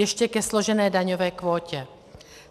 Ještě ke složené daňové kvótě.